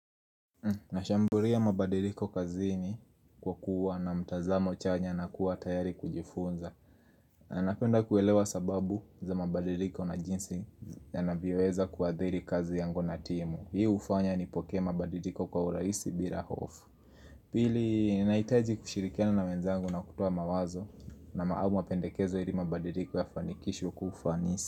Nashamburia mabadiliko kazini kwa kuwa na mtazamo chanya na kuwa tayari kujifunza na napenda kuelewa sababu za mabadiliko na jinsi yanavyoweza kuadhiri kazi yangu na timu. Hii hufanya nipokee mabadiliko kwa urahisi bira hofu Pili, nahitaji kushirikiana na wenzangu na kutoa mawazo au mapendekezo ili mabadiliko yafanikishwe kwa ufanisi.